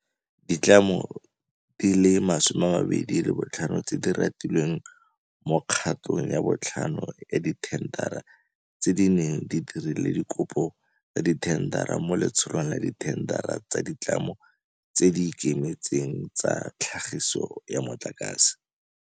Ditlamo di le 25 tse di ratilweng mo kgatong ya botlhano ya dithendara tse di neng di dirile dikopo tsa dithendara mo Letsholong la Dithendara tsa Ditlamo tse di Ikemetseng tsa Tlhagiso ya Motlakase